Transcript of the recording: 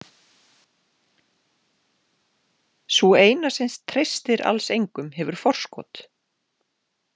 Sú eina sem treystir alls engum hefur forskot.